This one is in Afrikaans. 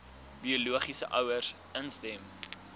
biologiese ouers instem